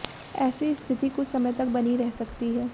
एेसी स्थिति कुछ समय तक बनी रह सकती है